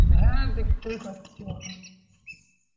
হ্যাঁ দেখতেই পাচ্ছি এখন.